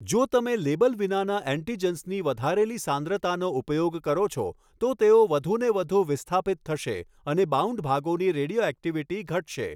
જો તમે લેબલ વિનાનાં એન્ટિજન્સની વધારેલી સાંદ્રતાનો ઉપયોગ કરો છો તો તેઓ વધુને વધુ વિસ્થાપિત થશે અને બાઉન્ડ ભાગોની રેડિયોઍક્ટિવિટી ઘટશે.